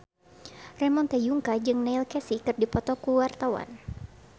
Ramon T. Yungka jeung Neil Casey keur dipoto ku wartawan